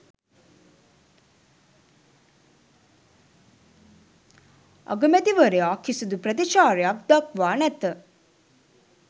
අගමැතිවරයා කිසිදු ප්‍රතිචාරයක් දක්වා නැත.